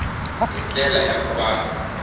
hi ndlela ya ku va